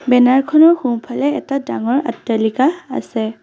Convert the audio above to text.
Banner খনৰ সোঁফালে এটা ডাঙৰ অট্টালিকা আছে।